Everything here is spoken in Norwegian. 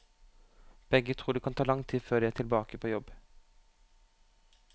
Begge tror det kan ta lang tid før de er tilbake på jobb.